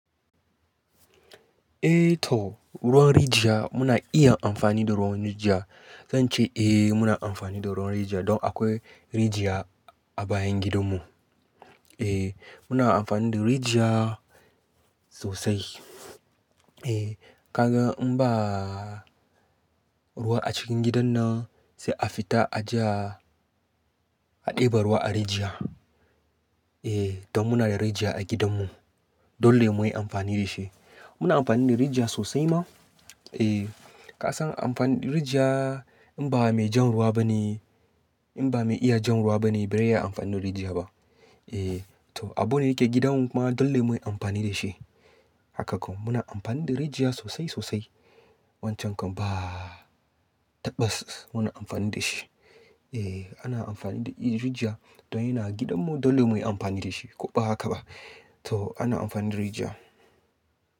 Eh to ruwan rijiya muna iya amfani da ruwan rijiya. Zan ce eh muna amfani da ruwan rijiya don akwai rijiya a bayan gidanmu. Eh muna amfani da rijiya sosai. Eh kaga in ba ruwa a cikin gidan nan sai a fita a je a ɗebi ruwa a rijiya. Eh don muna da rijiya a gidanmu. Dole mu yi amfani da shi. Muna amfani da rijiya sosai ma. Eh ka san amfani da rijiya in ba mai jan ruwa ba ne, in ba mai iya jan ruwa ba ne bai riya amfani da rijiya ba. Eh to abu ne yake gidanmu kuma dole mu yi amfani da shi. Haka kam muna amfani da rijiya sosai sosai. Wancan kam ba tabbas muna amfani da shi. Eh ana amfani da rijiya don yana gidanmu dole mu yi amfani da shi ko ba haka ba. To ana amfani da rijiya.